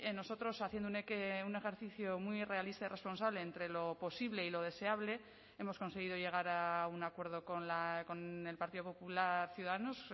nosotros haciendo un ejercicio muy realista y responsable entre lo posible y lo deseable hemos conseguido llegar a un acuerdo con el partido popular ciudadanos